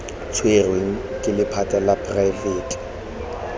tshwerweng ke lephata la poraefete